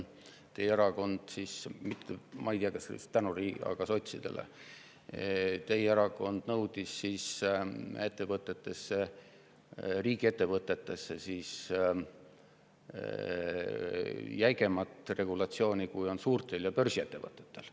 Teie erakond – ma ei tea, kas just tänu Riinale – nõudis riigiettevõtetesse jäigemat regulatsiooni, kui on suurtel börsiettevõtetel.